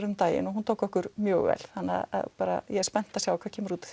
um daginn og hún tókur okkur mjög vel þannig ég er spennt að sjá hvað kemur út